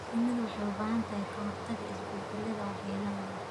Shinnidu waxay u baahan tahay ka-hortagga isbeddellada waxyeelada leh.